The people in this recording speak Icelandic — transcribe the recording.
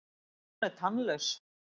Hún er tannlaus.